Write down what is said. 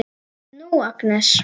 Nú, Agnes.